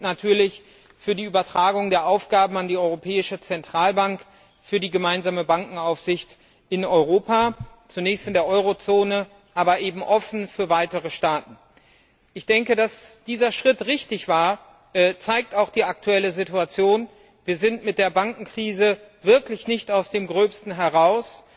natürlich für die Übertragung der Aufgaben an die Europäische Zentralbank für die gemeinsame Bankenaufsicht in Europa, zunächst in der Eurozone, aber eben offen für weitere Staaten. Dass dieser Schritt richtig war, zeigt auch die aktuelle Situation Wir sind mit der Bankenkrise wirklich nicht aus dem Gröbsten heraus.